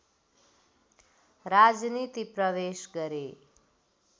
राजनीति प्रवेश गरे